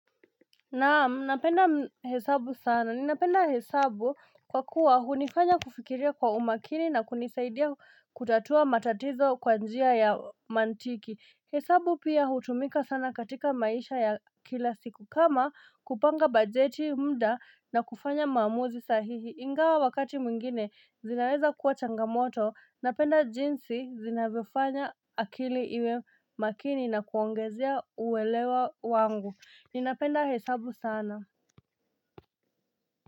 Naam, napenda hesabu sana. Ninapenda hesabu kwa kuwa hunifanya kufikiria kwa umakini na kunisaidia kutatua matatizo kwa njia ya mantiki. Hesabu pia hutumika sana katika maisha ya kila siku. Kama kupanga bajeti mda na kufanya maamuzi sahihi. Ingawa wakati mwingine zinaweza kuwa changamoto. Napenda jinsi zinavyo fanya akili iwe makini na kuongezea uwelewa wangu. Ni na penda hesabu sana.